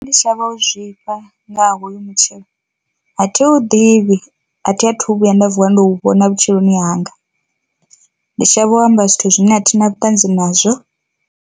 Ndi shavha u zwifha nga ha hoyu mutshelo, athi hu ḓivhi athi athu vhuya nda vuwa ndo u vhona vhutshiloni hanga ndi shavha u amba zwithu zwine a thi na vhuṱanzi nazwo.